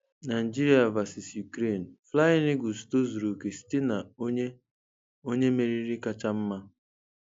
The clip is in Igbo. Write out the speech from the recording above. Nigeria Vs Ukraine: Flying Eagles tozuru oke site na onye onye meriri kacha mma